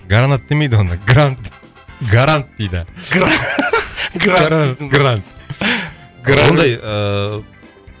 гаранат демейді оны грант гарант дейді грант ондай ыыы